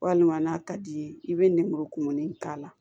Walima n'a ka d'i ye i bɛ nɛnmuru kumuni k'a la